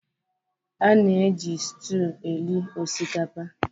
A na-eji sụtụ eri osikapa